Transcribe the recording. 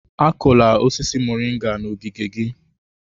Akụla osisi moringa n'ogige gị!